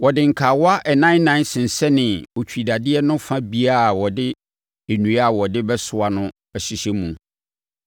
Wɔde nkawa ɛnan ɛnan sensɛnee otwidadeɛ no fa biara a wɔde nnua a wɔde bɛsoa no hyehyɛɛ mu.